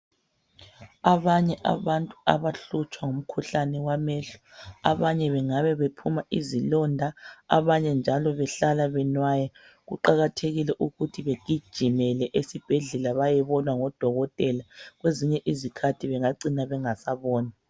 Abanye abantu abahlutshwa ngumkhuhlane wamehlo. Abanye bengabe bephuma izilonda. Abanye njalo behlala benwaya. Kuqakathekile ukuthi begijimele esibhedlela bayebonwa ngodokotela. Kwezinye izikhathi bengacina bengasaboni.